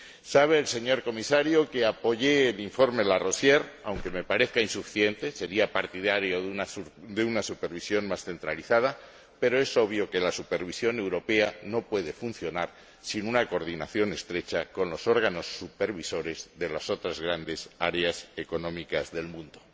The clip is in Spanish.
Sabe el señor Comisario que apoyé el Informe Larosière, aunque me pareciera insuficiente —sería partidario de una supervisión más centralizada—, pero es obvio que la supervisión europea no puede funcionar sin una coordinación estrecha con los órganos supervisores de las otras grandes áreas económicas del mundo.